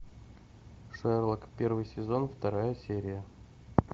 шерлок первый сезон вторая серия